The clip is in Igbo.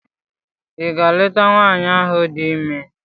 Ị gaa leta Nwaanyị ahụ di ime?